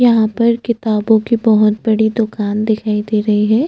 यहाँ पर किताबों की बहोत बड़ी दुकान दिखाई दे रही है।